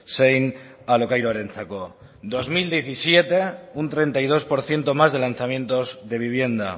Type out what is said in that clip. zein alokairuarentzako dos mil diecisiete un treinta y dos por ciento más de lanzamientos de vivienda